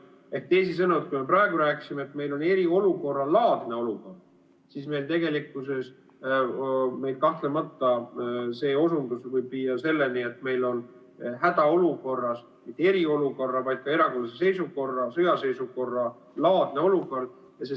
" Ehk teisisõnu, kui me praegu rääkisime, et meil on eriolukorralaadne olukord, siis meil tegelikkuses kahtlemata see osundus võib viia selleni, et meil on hädaolukorras mitte eriolukorra‑, vaid ka erakorralise seisukorra või sõjaseisukorralaadne olukord.